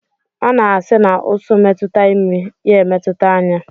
A na-asi na ụsụ metụta imi, ya emetụta anya